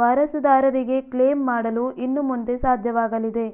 ವಾರಸುದಾರರಿಗೆ claim ಮಾಡಲು ಇನ್ನು ಮುಂದೆ ಸಾಧ್ಯವಾಗಲಿದೆ